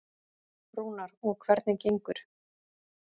Rúnar: Og hvernig gengur?